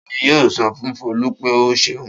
Ta ni yóò sọ fún Folú pé ó ṣeun?